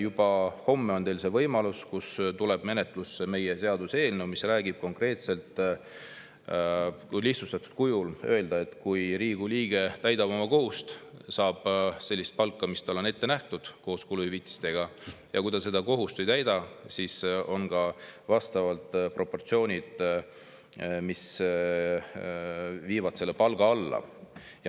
Juba homme on teil see võimalus: menetlusse tuleb meie seaduseelnõu, mis räägib konkreetselt – kui lihtsustatud kujul öelda –, et kui Riigikogu liige täidab oma kohust, saab ta sellist palka, mis talle on koos kuluhüvitistega ette nähtud, ja kui ta kohust ei täida, siis palk proportsionaalselt.